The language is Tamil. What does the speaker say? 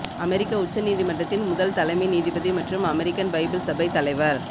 அமெரிக்க உச்ச நீதிமன்றத்தின் முதல் தலைமை நீதிபதி மற்றும் அமெரிக்கன் பைபிள் சபை தலைவர்